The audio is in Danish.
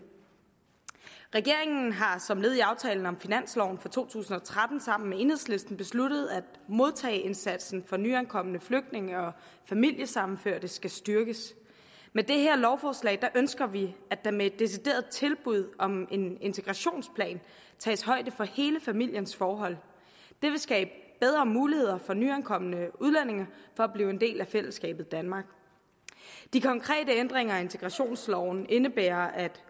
regeringen har som led i aftalen om finansloven for to tusind og tretten sammen med enhedslisten besluttet at modtageindsatsen for nyankomne flygtninge og familiesammenførte skal styrkes med det her lovforslag ønsker vi at der med et decideret tilbud om en integrationsplan tages højde for hele familiens forhold det vil skabe bedre muligheder for nyankomne udlændinge for at blive en del af fællesskabet i danmark de konkrete ændringer af integrationsloven indebærer at